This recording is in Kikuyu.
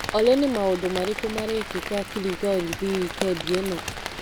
Olĩ ni maũndũ marĩkũ marekĩka Kiligorithi wikendi ĩno ?